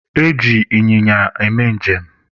E ji ịnyịnya eme njem